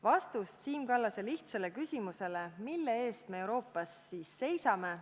Vastust Siim Kallase lihtsale küsimusele – mille eest me Euroopas seisame?